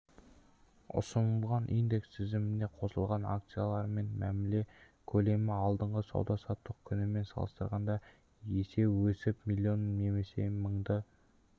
ұсынылған индекс тізіміне қосылған акциямен мәміле көлемі алдыңғы сауда-саттық күнімен салыстырғанда есе өсіп миллион немесе мыңды